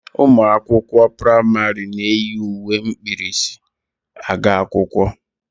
Ụmụ akwụkwọ praịmarị na-eyi uwe ukwu mkpirisi aga akwụkwọ